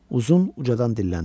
Uzun ucadan dilləndi.